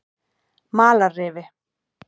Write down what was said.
Malarrifi